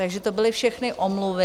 Takže to byly všechny omluvy.